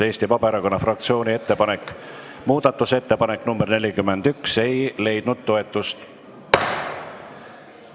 Eesti Vabaerakonna fraktsiooni muudatusettepanek nr 41 ei leidnud toetust.